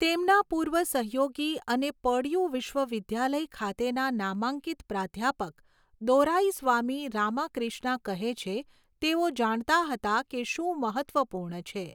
તેમના પૂર્વ સહયોગી અને પર્ડ્યૂ વિશ્વવિદ્યાલય ખાતેના નામાંકિત પ્રાધ્યાપક, દોરાઇસ્વામી રામાક્રિષ્ના કહે છે, તેઓ જાણતા હતા કે શું મહત્ત્વપૂર્ણ છે.